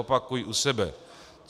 Opakuji u sebe.